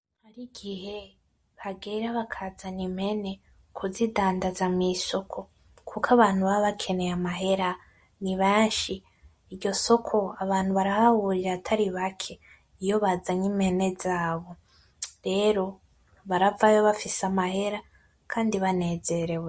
Nigihe kigera abantu bakazana impene kuzidandaza mwisoko kuko abantu baba bakeneye amahera nibenshi. Iryo soko abantu barahahurira atari bake iyo bazanye impene zabo, rero baravayo bafise amahera kandi banezerewe.